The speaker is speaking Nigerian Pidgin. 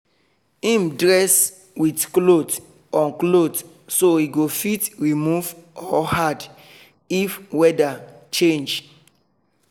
him dress with cloth on cloth so e go fit remove or add if weather change